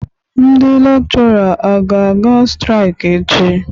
Ndị Lekshora a ga-aga straik echi?